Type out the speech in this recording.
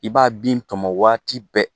I b'a bin tɔmɔn waati bɛɛ.